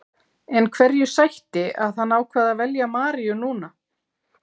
En hverju sætti að hann ákvað að velja Maríu núna?